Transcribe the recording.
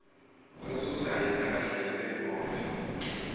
bazuzani abadlali bebhola